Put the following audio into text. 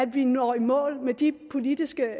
vi når i mål med de politiske